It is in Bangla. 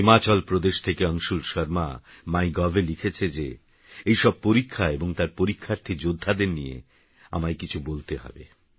হিমাচলপ্রদেশথকেঅংশুলশর্মাmygovএলিখেছেযে এইসবপরীক্ষাএবংতারপরীক্ষার্থীযোদ্ধাদেরনিয়েআমায়কিছুবলতেহবে